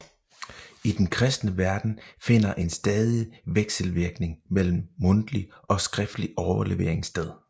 I den kristne verden finder en stadig vekselvirkning mellem mundtlig og skriftlig overlevering sted